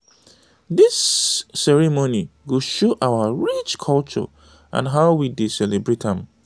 dis ceremony go show our rich culture and how we dey celebrate am.